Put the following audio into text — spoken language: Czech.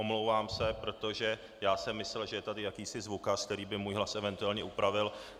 Omlouvám se, protože já jsem myslel, že je tady jakýsi zvukař, který by můj hlas eventuálně upravil.